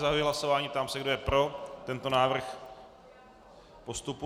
Zahajuji hlasování, ptám se, kdo je pro tento návrh postupu.